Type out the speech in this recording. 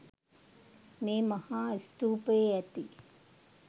මේ මහා ස්තූපයේ ඇති